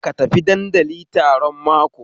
Ka tafi dandali taron mako